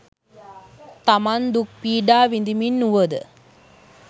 තමන් දුක් පීඩා විඳිමින් වූවද